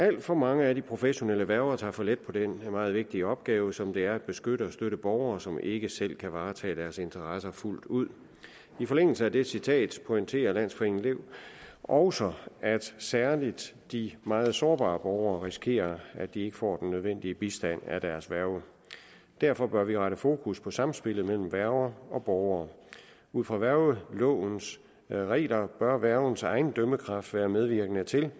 alt for mange af de professionelle værger tager for let på den meget vigtige opgave som det er at beskytte og støtte borgere som ikke selv kan varetage deres interesser fuldt ud i forlængelse af det citat pointerer landsforeningen lev også at særlig de meget sårbare borgere risikerer at de ikke får den nødvendige bistand af deres værge derfor bør vi rette fokus på samspillet mellem værger og borgere ud fra værgelovens regler bør værgens egen dømmekraft være medvirkende til